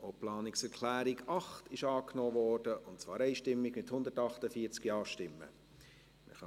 Sie haben die Planungserklärung 8 einstimmig angenommen, mit 148 Ja- gegen 0 NeinStimmen bei 0 Enthaltungen.